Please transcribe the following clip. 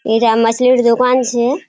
ईरा मछलीर दुकान छे।